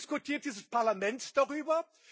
Aber diskutiert dieses Parlament darüber?